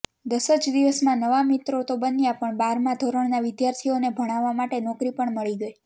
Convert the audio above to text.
દસજ દિવસમાં નવા મીત્રોતો બન્યા પણ બારમાં ધોરણના વિદ્યાર્થીઓને ભણાવવા માટે નોકરી પણ મળી ગઈ